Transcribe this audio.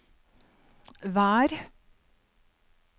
vær